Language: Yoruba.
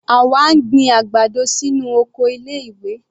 Àwa ń gbin àgbàdo sínú oko ilé ìwé.